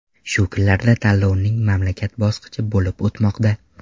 Shu kunlarda tanlovning mamlakat bosqichi bo‘lib o‘tmoqda.